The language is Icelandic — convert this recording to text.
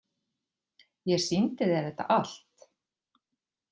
Ég sýndi þér þetta allt.